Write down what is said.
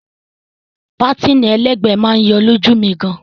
Pátìnì ẹlẹ́gbẹ̀ẹ́ máa yọ lójú mi gan.